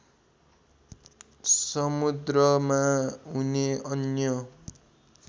समुद्रमा हुने अन्य